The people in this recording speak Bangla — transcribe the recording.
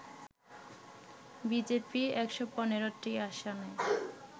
বিজেপি ১১৫টি আসনে